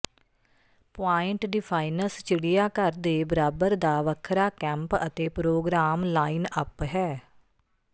point defiance ਚਿਡ਼ਿਆਘਰ ਦੇ ਬਰਾਬਰ ਦਾ ਵੱਖਰਾ ਕੈਂਪ ਅਤੇ ਪ੍ਰੋਗਰਾਮ ਲਾਈਨਅੱਪ ਹੈ